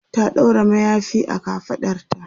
ta ɗaura mayafi a kafaɗarta